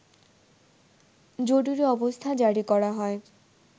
জরুরি অবস্থা জারি করা হয়